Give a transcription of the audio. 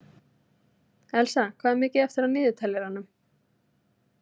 Elsa, hvað er mikið eftir af niðurteljaranum?